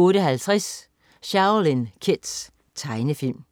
08.50 Shaolin Kids. Tegnefilm